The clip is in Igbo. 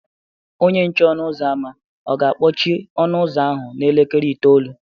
Onye nche ọnụ ụzọ ámá ọ̀ ga-akpọchi ọnụ ụzọ ahụ n’elekere itoolu?